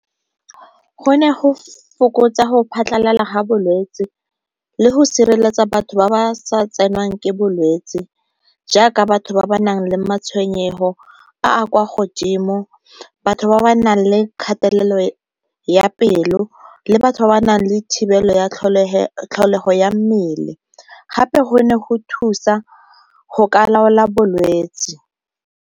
Go ne go fokotsa go phatlhalala ga bolwetsi le go sireletsa batho ba ba sa tsenwang ke bolwetsi jaaka batho ba ba nang le matshwenyego a a kwa godimo, batho ba ba nang le kgathelelo ya pelo, le batho ba ba nang le thibelo ya tlholego ya mmele. Gape go ne go thusa go ka laola bolwetsi.